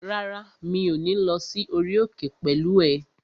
Rárá, mi ò ní lọ sí orí òkè pẹ̀lú ẹ